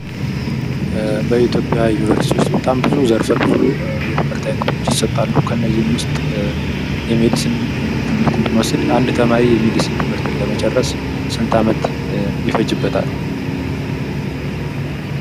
በኢትዮጵያ ዩኒቨርስቲዎች ውስጥ በጣም ብዙ ዘርፈ ብዙ የትምህርት አይነቶች ይሰጣሉ ።ከነዚህም ውስጥ ሜዲስን ትምህርትን ብንወስድ አንድ ተማሪ የሜዲስን ትምህርትን ለመጨረስ ስንት አመት ይፈጅበታል።